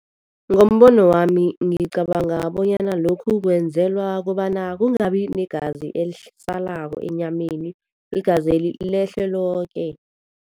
Ngombono wami ngicabanga bonyana lokhu kwenzelwa kobana kungabi negazi elisalako enyameni, igazeli lehle loke.